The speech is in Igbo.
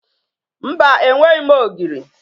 Mba, enweghi m ogiri.